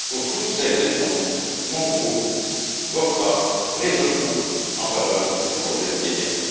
Pour toutes ces raisons, mon groupe votera résolument en faveur du projet ETIAS.